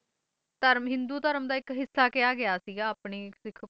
ਧਰਮ ਹਿੰਦੂ ਧਰਮ ਦਾ ਇੱਕ ਹਿੱਸਾ ਕਿਹਾ ਗਿਆ ਸੀ ਸਿੱਖ ਕੌਮ ਨੂੰ ਹਾਂ ਜੀ ਹਿੰਦੂ ਧਰਮ ਦਾ